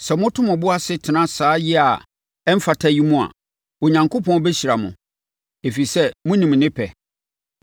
Sɛ moto mo bo ase tena saa yea a ɛmfata yi mu a, Onyankopɔn bɛhyira mo, ɛfiri sɛ, monim ne pɛ.